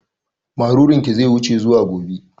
Marurun ki zai wuce zuwa gobe